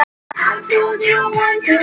Maður þarf nú sinn tíma.